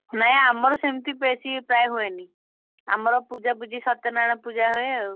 ନାଇଁ ଆମର ସେମିତି ବେଶି ପ୍ରାୟେ ହୁଏନି, ଆମର ପୂଜାପୂଜିସତ୍ୟନାରାୟଣ ପୂଜା ହୁଏ ଆଉ।